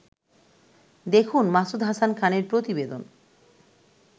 দেখুন মাসুদ হাসান খানের প্রতিবেদন